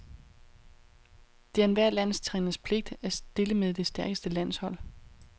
Det er enhver landstræners pligt at stille med det stærkeste landshold.